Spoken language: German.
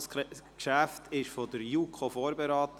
Das Geschäft wurde durch die JuKo vorberaten.